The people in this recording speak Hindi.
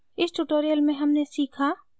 इस tutorial में हमने सीखा: